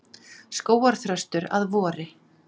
Skógarþröstur að vori.